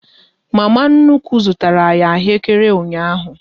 Mama nnukwu zụtara anyị ahụekere ụnyaahụ